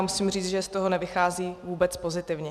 A musím říct, že z toho nevychází vůbec pozitivně.